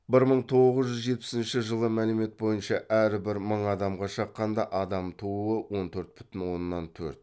бір мың тоғыз жүз жетпісінші жылы мәлімет бойынша әрбір мың адамға шаққанда адам тууы он төрт бүтін оннан төрт